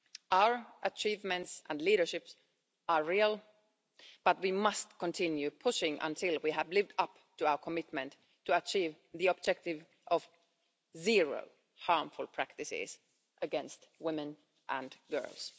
Our achievements and leadership are real, but we must continue pushing until we have lived up to our commitment to achieve the objective of zero harmful practices against women and girls.